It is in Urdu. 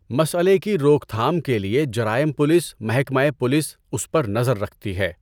مسئلے کی روک تھام کے لیے جرائم پولیس محکمۂ پولیس اس پر نظر رکھتی ہے۔